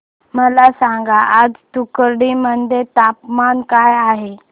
मला सांगा आज तूतुकुडी मध्ये तापमान काय आहे